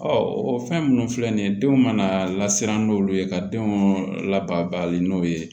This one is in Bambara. o fɛn minnu filɛ nin ye denw mana lasiran n'olu ye ka denw labali n'o ye